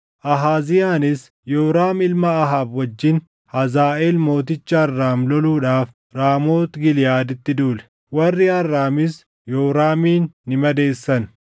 Ahaaziyaanis Yooraam ilma Ahaab wajjin Hazaaʼeel mooticha Arraam loluudhaaf Raamoot Giliʼaaditti duule. Warri Arraamis Yooraamin ni madeessan;